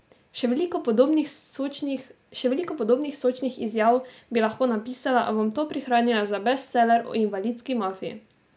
Še veliko podobnih sočnih izjav bi lahko napisala, a bom to prihranila za bestseller o invalidski mafiji.